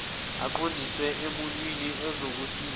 akuqondise emuntwini ozokusiza